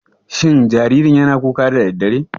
Shin jaririn yana kuka da daddare?